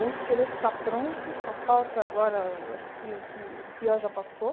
O esqueleto está pronto, só falta agora, acho que o que o pior já passou.